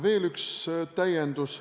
Veel üks täiendus.